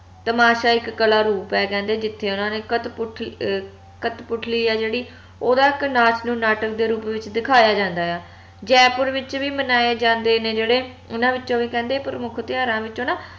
ਤਮਾਸ਼ਾ ਇਕ ਕਲਾ ਰੂਪ ਆ ਕਹਿੰਦੇ ਜਿਥੇ ਓਹਨਾ ਨੇ ਕਤਪੁਤ ਅਹ ਕਠਪੁਤਲੀ ਆ ਜੇਹੜੀ ਓਹਦਾ ਇਕ ਨਾਚ ਨੂੰ ਨਾਟਕ ਦੇ ਰੂਪ ਵਿਚ ਦਖਾਯਾ ਜਾਂਦਾ ਆ ਜੈਪੁਰ ਵਿਚ ਵੀ ਮਨਾਏ ਜਾਂਦੇ ਨੇ ਜੇਹੜੇ ਓਹਨਾ ਵਿੱਚੋ ਵੀ ਕਹਿੰਦੇ ਪ੍ਰਮੁੱਖ ਤਿਓਹਾਰਾਂ ਵਿੱਚੋ ਨਾ